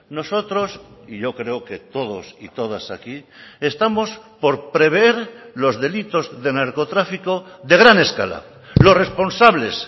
nosotros y yo creo que todos y todas aquí estamos por prever los delitos de narcotráfico de gran escala los responsables